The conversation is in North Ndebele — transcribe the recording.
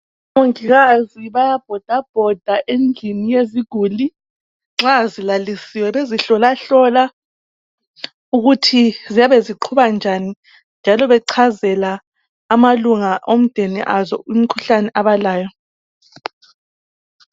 Omongikazi bayabhoda bhoda endlini yeziguli nxa zilalisiwe bezihlola hlola ukuthi ziyabe ziqhuba njani njalo bechazela amalunga omdeni azo imikhuhlane abalayo.